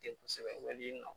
Kɛ kosɛbɛ yani nɔ